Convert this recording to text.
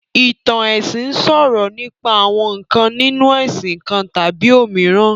Ìtàn ẹ̀sìn sọ̀rọ̀ nípa àwọn ǹkan nínu ẹ̀sìn kan tàbí òmíràn